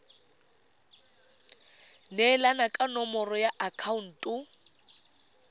neelana ka nomoro ya akhaonto